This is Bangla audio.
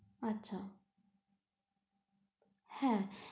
আচ্ছা হ্যাঁ।